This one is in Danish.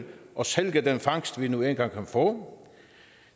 og sælge den fangst vi nu engang kan få